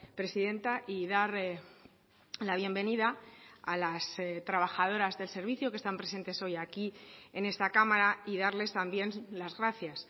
presidenta y dar la bienvenida a las trabajadoras del servicio que están presentes hoy aquí en esta cámara y darles también las gracias